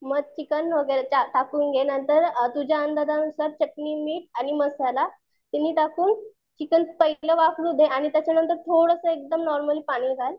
मग चिकन वगैरे टा टाकून घे नंतर तुझ्या अंदाज नुसार आ चटणी, मीठ, मसाला